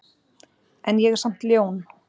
En ég er samt ljón.